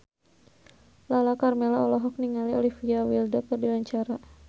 Lala Karmela olohok ningali Olivia Wilde keur diwawancara